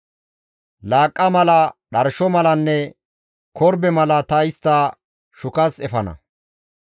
Laaqqa mala, dharsho malanne korbe mala ta istta shukas efana.